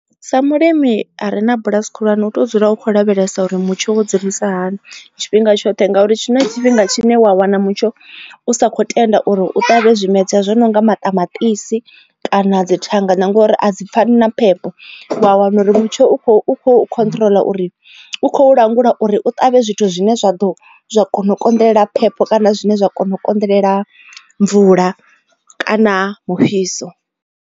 Sa mulimi are na bulasi khulwane u to dzula u kho lavhelesa uri mutsho wo dzulisa hani tshifhinga tshoṱhe ngauri na tshifhinga tshine wa wana mutsho u sa kho tenda uri u ṱavhe zwimedzwa zwo nonga maṱamaṱisi kana dzi thanga na ngori a dzi pfani na phepho. Wa wana uri mutsho u khou kho khotrola uri u khou langula uri u ṱavhe zwithu zwine zwa ḓo kona u konḓelela phepho kana zwine zwa kona u konḓelela mvula kana mufhiso.